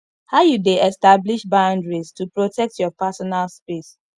how you dey establish boundaries to protect your personal space